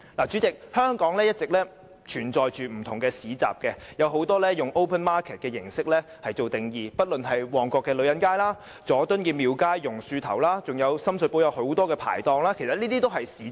主席，香港一直也存在不同市集，很多均以 open market 為形式和定義，不論是旺角女人街、佐敦廟街、榕樹頭及深水埗很多的排檔等，其實這些也屬於市集。